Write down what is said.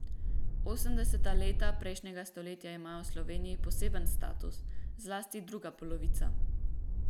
Osemdeseta leta prejšnjega stoletja imajo v Sloveniji poseben status, zlasti druga polovica.